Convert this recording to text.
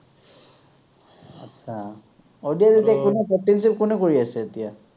আহ ODI ত এতিয়া কোনে potential কোনে কৰি আছে এতিয়া৷